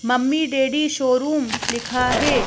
Mummy daddy showroom लिखा है।